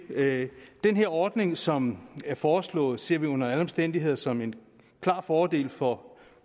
det den ordning som er foreslået ser vi under alle omstændigheder som en klar fordel for